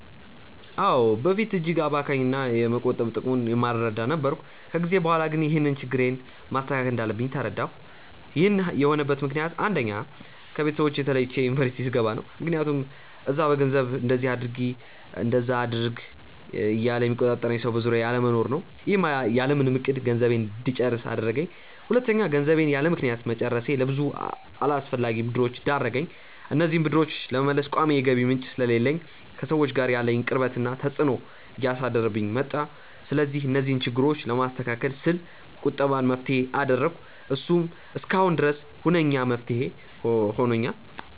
አዎ። በፊት እጅግ አባካኝ እና የመቆጠብ ጥቅሙን የማልረዳ ነበርኩ። ከጊዜ በኋላ ግን ይህንን ችግሬን ማስተካከል እንዳለብኝ ተረዳሁ። ይህን የሆነበት ምክንያት አንደኛ: ከቤተሰቦቼ ተለይቼ ዩኒቨርስቲ ስገባ ነው። ምክያቱም እዛ በገንዘቡ እንደዚ አድርጊ እንደዛ አድርጊ እያለ የሚቆጣጠረኝ ሰው በዙሪያዬ አለመኖሩ ነው። ይህም ያለምንም እቅድ ገንዘቤን እንድጨርስ አደረገኝ። ሁለተኛ: ገንዘቤን ያለምክንያት መጨረሴ ለብዙ አላስፈላጊ ብድሮች ዳረገኝ። እነዚህንም ብድሮች ለመመለስ ቋሚ የገቢ ምንጭ ስለሌለኝ ከሰዎች ጋር ያለኝን ቅርበት ላይ ተፅዕኖ እያሳደረብኝ መጣ። ስለዚህ እነዚህን ችግሮች ለማስተካከል ስል ቁጠባን መፍትሄ አደረኩ። እሱም እስካሁን ድረስ ሁነኛ መፍትሄ ሆኖኛል።